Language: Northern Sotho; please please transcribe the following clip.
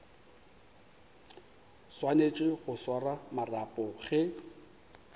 swanetše go swara marapo ge